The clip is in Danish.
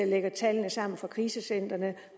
lægger tallene sammen fra krisecentrene